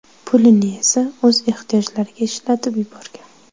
Pulini esa o‘z ehtiyojlariga ishlatib yuborgan.